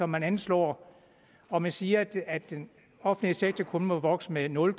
man anslår og man siger at den offentlige sektor kun må vokse med nul